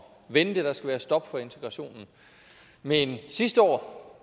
vente der skal være stop for integrationen men sidste år